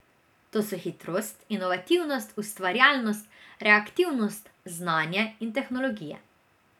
To so hitrost, inovativnost, ustvarjalnost, reaktivnost, znanje in tehnologije.